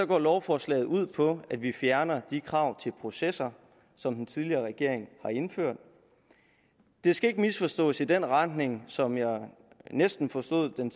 går lovforslaget ud på at vi fjerner de krav til processer som den tidligere regering har indført det skal ikke misforstås i den retning som jeg næsten forstod den